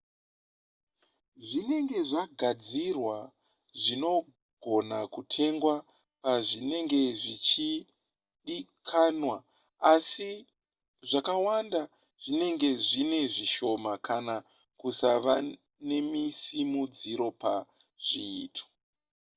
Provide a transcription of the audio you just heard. zvinenge zvagadzirwa zvinogona kutengwa pazvinenge zvichidikanwa asi zvakawanda zvinenge zvinezvishoma kana kusava nesimudziro pazviito